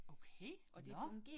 Okay, nåh